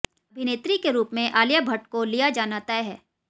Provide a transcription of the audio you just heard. अभिनेत्री के रूप में आलिया भट्ट को लिया जाना तय है